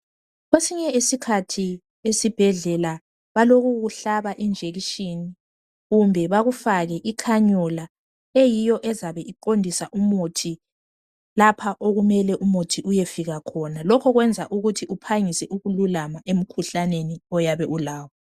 Kwesinye isikhathi esibhedlela balokukuhlaba injekishini kumbe bakufake ikhanyola eyiyo ezabe iqondisa umuthi lapha okumele umuthi uyefika khona lokhu kwenza ukuthi uphangise ukululama emkhuhlaneni oyabe ulawo.